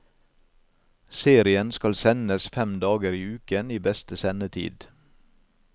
Serien skal sendes fem dager i uken i beste sendetid.